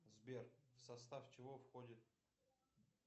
сбер в состав чего входит